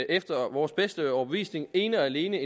efter vores bedste overbevisning ene og alene